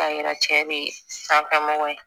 K'a yira cɛ bɛ sanfɛ mɔgɔw ye